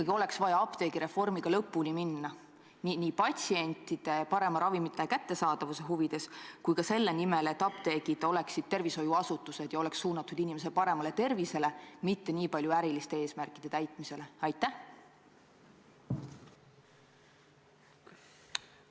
Või oleks ikkagi vaja apteegireformiga lõpuni minna – nii patsientide parema ravimite kättesaadavuse huvides kui ka selle nimel, et apteegid oleksid tervishoiuasutused ja suunatud inimese tervise edendamisele, mitte niivõrd äriliste eesmärkide täitmisele?